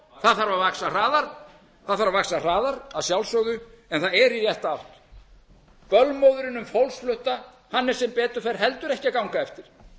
að vaxa hraðar það þarf að vaxa hraðar að sjálfsögðu en það er í rétta átt bölmóðurinn um fólksflótta er sem betur fer heldur ekki að ganga eftir